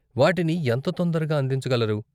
వాటిని ఎంత తొందరగా అందించగలరు?